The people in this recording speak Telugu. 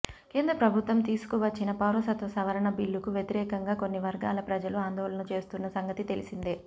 కేంద్ర ప్రభుత్వం తీసుకువచ్చిన పౌరసత్వ సవరణ బిల్లుకు వ్యతిరేకంగా కొన్ని వర్గాల ప్రజలు ఆందోళనలు చేస్తున్న సంగతి తెలిసిందే